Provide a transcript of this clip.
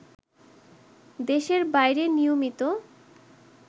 দেশের বাইরে নিয়মিত